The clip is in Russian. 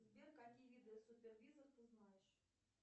сбер какие виды супервизов ты знаешь